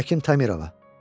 Hakim Tamırova.